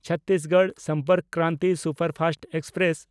Chhattisgarh Sampark Kranti superfast express